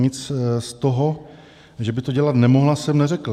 Nic z toho, že by to dělat nemohla, jsem neřekl.